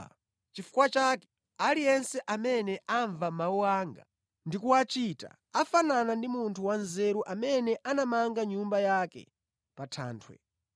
“Nʼchifukwa chake aliyense amene amva mawu anga ndi kuwachita akufanana ndi munthu wanzeru amene anamanga nyumba yake pa thanthwe.